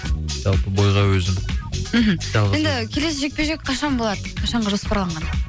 жалпы бойға өзім мхм жалғыз барам енді келесі жекпе жек қашан болады қашанға жоспарланған